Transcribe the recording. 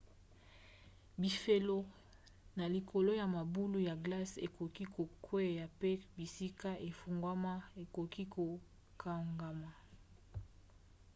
bifelo na likolo ya mabulu ya glace ekoki kokwea mpe bisika efungwama ekoki kokangama